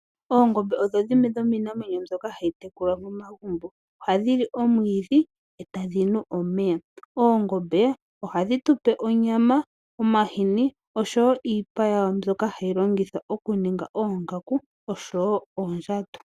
Oongombe odhoodho dhimwe dhomiinamwenyo mbyoka ha yi tekulwa momagumbo. Oha dhi li omwiidhi, e tadhi nu omeya. Oongombe oha dhi tu pe onyama, omahini osho wo iipa yawo mbyoka hayi longithwa oku ninga oongaku, osho wo oondjato.